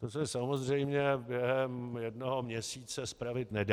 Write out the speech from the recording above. To se samozřejmě během jednoho měsíce spravit nedá.